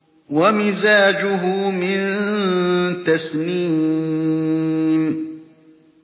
وَمِزَاجُهُ مِن تَسْنِيمٍ